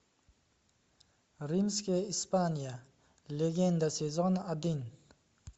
римская испания легенда сезон один